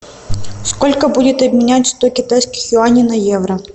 сколько будет обменять сто китайских юаней на евро